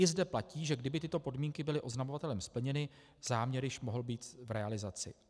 I zde platí, že kdyby tyto podmínky byly oznamovatelem splněny, záměr již mohl být v realizaci.